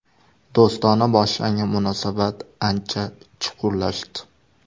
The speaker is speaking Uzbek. Do‘stona boshlangan munosabat ancha chuqurlashdi.